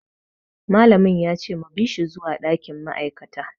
Malam ya ce mu bi shi zuwa dakin ma'aikata.